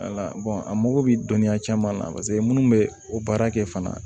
a mago bɛ dɔnniya caman na minnu bɛ o baara kɛ fana